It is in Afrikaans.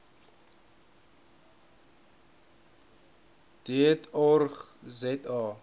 deat org za